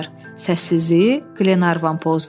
Səssizliyi Qlenarvan pozdu.